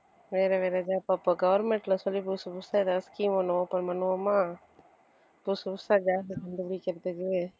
வேற வேற ஏதாவது அப்ப government ல சொல்லி புதுசு புதுசா ஏதாவது scheme ஒண்ணு open பண்ணுவோமா புதுசு புதுசா job அ கண்டுபிடிக்கிறதுக்கு